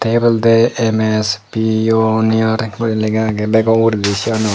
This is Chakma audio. eote oloday ms pioneer lagaagay bagow uguraydi seanot.